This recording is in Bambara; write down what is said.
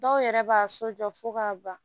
Dɔw yɛrɛ b'a so jɔ fo k'a ban